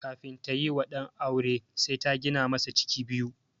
Kafin tayi wa ɗan aure sai ta gina masa ciki biyu.